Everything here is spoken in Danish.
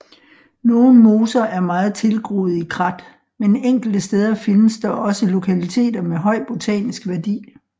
Nogle moser er meget tilgroede i krat men enkelte steder findes dog også lokaliteter med høj botanisk værdi